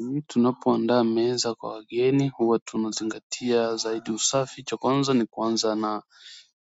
Mi tunapoandaa meza kwa wageni huwa tunazingatia zaidi usafi cha kwanza ni kuanza na.